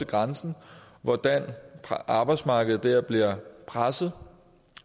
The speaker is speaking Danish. grænsen hvordan arbejdsmarkedet der bliver presset